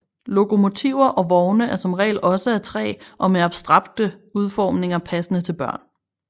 Lokomotiver og vogne er som regel også af træ og med abstrakte udformninger passende til børn